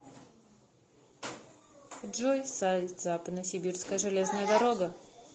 джой сайт западносибирская железная дорога